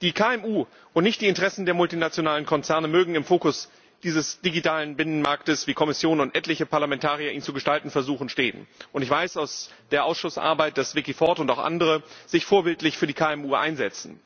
Die KMU, und nicht die Interessen der multinationalen Konzerne, mögen im Fokus dieses digitalen Binnenmarktes, wie Kommission und etliche Parlamentarier ihn zu gestalten versuchen, stehen. Ich weiß aus der Ausschussarbeit, dass Vicky Ford und auch andere sich vorbildlich für die KMU einsetzen.